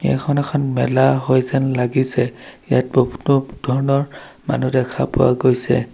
এইখন এখন মেলা হয় যেন লাগিছে ইয়াত বহুতো ধৰণৰ মানুহ দেখা পোৱা গৈছে।